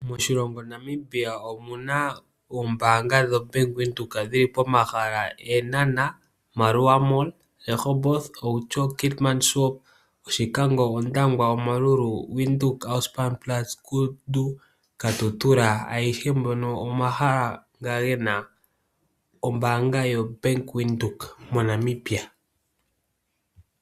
Moshilongo Namibia omuna oombanga dho Bank Widheok dhili pomahala, Eenhana, Maerua mall, Rehoboth, Outjo, Keetmanshop, Oshikango, Ondangwa, Omaruru, Widheok Ausspannplatz, Kudu, Katutura angehe ngono omahala nga gena ombanga yo Bank Widheok moNamibia.